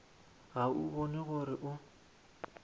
ga o bone gore o